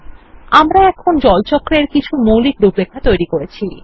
এখন আমরা water cycle এর কিছু মৌলিক রূপরেখা তৈরি করেছি